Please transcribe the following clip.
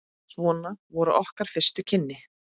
Svona voru okkar fyrstu kynni.